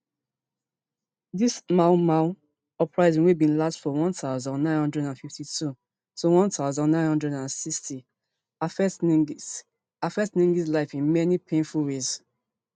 di mau mau uprising wey bin last from one thousand, nine hundred and fifty-two to one thousand, nine hundred and sixty affect nggs affect nggs life in many painful ways